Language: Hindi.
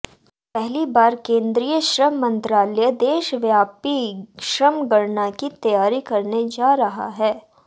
पहली बार केंद्रीय श्रम मंत्रालय देशव्यापी श्रमगणना की तैयारी करने जा रहा है